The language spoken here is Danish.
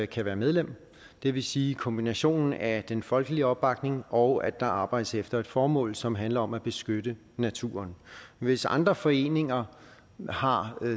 kan være medlem det vil sige kombinationen af den folkelige opbakning og at der arbejdes efter et formål som handler om at beskytte naturen hvis andre foreninger har